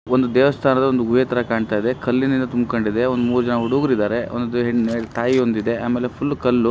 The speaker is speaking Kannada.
ಒಂದು ದೇವಸ್ಥಾನದ ಒಂದು ಗುಹೆ ತರ ಕಾಣ್ತಾ ಇದೆ. ಕಲ್ಲಿನಿಂದ ತುಂಬ್ಕೊಂಡು ಇದೆ ಒಂದು ಮೂರು ಜನ ಹುಡುಗರು ಇದ್ದಾರೆ. ಒಂದು ಹೆಣ್ಣಿಗೆ ತಾಯಿ ಹೊಂದಿದೆ. ಆಮೇಲೆ ಫುಲ್ ಕಲ್ಲು.